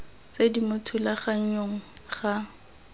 tse di mo thulaganyong ga